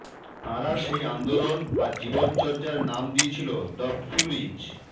তাঁরা সেই আন্দোলন বা জীবন চর্যার নাম দিয়েছিল দ্য ফিউরিজ